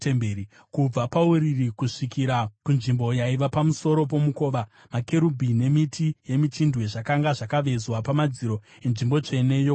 Kubva pauriri kusvikira kunzvimbo yaiva pamusoro pomukova, makerubhi nemiti yemichindwe zvakanga zvakavezwa pamadziro enzvimbo tsvene yokunze.